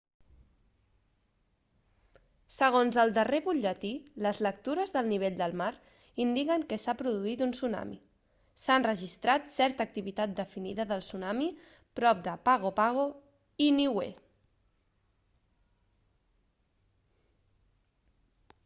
segons el darrer butlletí les lectures del nivell del mar indiquen que s'ha produït un tsunami s'ha enregistrat certa activitat definida de tsunami prop de pago pago i niue